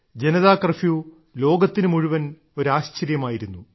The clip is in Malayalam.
ജനതാ കർഫ്യൂ ലോകത്തിനു മുഴുവൻ ഒരു ആശ്ചര്യമായിരുന്നു